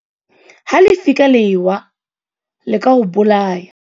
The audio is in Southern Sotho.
Ha lefika le ewa le ka o bolaya.